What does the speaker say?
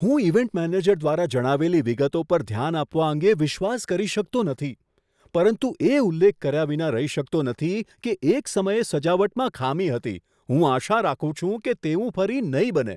હું event manager દ્વારા જણાવેલી વિગતો પર ધ્યાન આપવા અંગે વિશ્વાસ કરી શકતો નથી, પરંતુ એ ઉલ્લેખ કર્યાં વિના રહી શકતો નથી કે એક સમયે સજાવટમાં ખામી હતી. હું આશા રાખું છું કે તેવું ફરી નહીં બને.